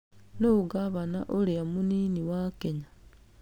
Nũũ ngavana ũrĩa mũnini wa Kenya?